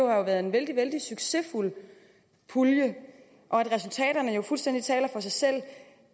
har været en vældig vældig succesfuld pulje og at resultaterne fuldstændig taler for sig selv